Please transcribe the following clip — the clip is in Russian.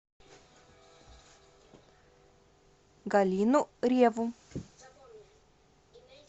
галину реву